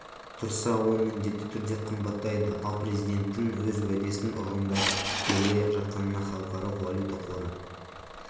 тұрса ол міндетті түрде қымбатайды ал президенттің өз уәдесін орындап келе жатқанына халықаралық валюта қоры